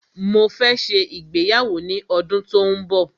Mó fẹ́ ṣe ìgbéyàwó ní ọdún tó n bọ̀.